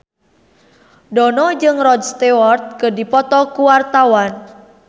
Dono jeung Rod Stewart keur dipoto ku wartawan